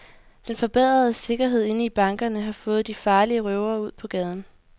Den forbedrede sikkerhed inde i bankerne har fået de farlige røvere ud på gaden.